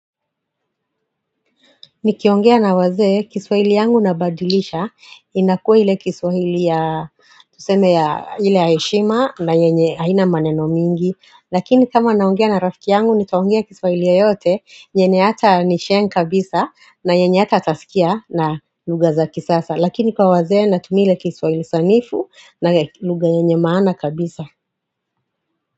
Nikiongea na wazee kiswahili yangu nabadilisha inakuwa ile kiswahili ya tuseme ya ile ya heshima na yenye haina maneno mingi. Lakini kama naongea na rafiki yangu nitaongea kiswahili yeyote yenye hata ni sheng kabisa na yenye hata atasikia na lugha za kisasa. Lakini kwa wazee natumia ile kiswahili sanifu na lugha yenye maana kabisa.